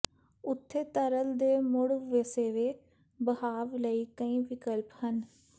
ਉੱਥੇ ਤਰਲ ਦੇ ਮੁੜ ਵਸੇਵੇ ਬਹਾਵ ਲਈ ਕਈ ਵਿਕਲਪ ਹਨ